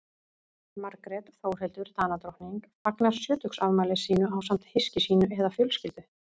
Margrét Þórhildur Danadrottning fagnar sjötugsafmæli sínu ásamt hyski sínu eða fjölskyldu.